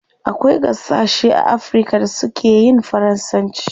Akwai gasashe a africa da su keyin faransanci